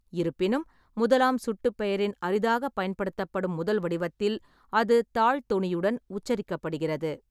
இருப்பினும், முதலாம் சுட்டுபெயரின் அரிதாகப் பயன்படுத்தப்படும் முதல் வடிவத்தில் அது தாழ் தொனியுடன் உச்சரிக்கப்படுகிறது.